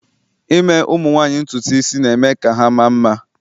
ime ụmụ nwanyị ntutu isi, na-eme ka ha maa mma